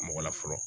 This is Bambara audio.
Mɔgɔ la fɔlɔ